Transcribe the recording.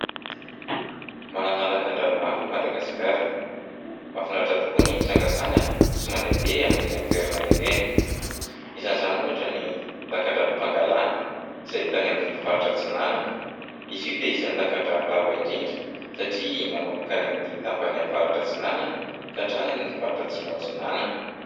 Manana lakan-drano maro i Madagasikara. Mafinaritra tokoa ny mitsangatsangana sy mandehandeha amin'ireny toerana ireny. Isan'izany ohatra ny lakan-dranon'i Pangalana izay hita any amin'ny faritra Atsinanana. Izy io dia isan'ny lakan-drano lava indrindra satria manomboka any amin'ny tapany Avaratra-Atsinanana ka hatrany amin'ny faritra Atsimo-Atsinanana.